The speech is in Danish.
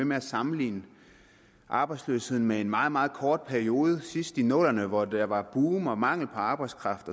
med at sammenligne arbejdsløsheden med en meget meget kort periode sidst i nullerne hvor der var et boom og mangel på arbejdskraft